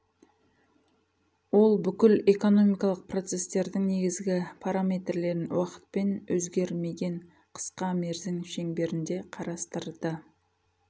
ол бүкіл экономикалық процестердің негізгі параметрлерін уақытпен өзгермеген қысқа мерзім шеңберінде қарастырды